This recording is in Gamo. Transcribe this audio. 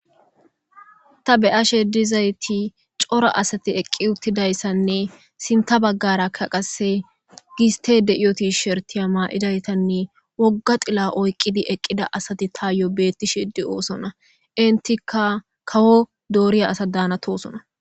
Ta be'ashe dizayis coora asati eqi utidayisanee izaka qasi gisitey de'ewo tisheritay mayidarane woga xila oyikida asati tayo betishe do'sona enitika kawo dorya asata danosona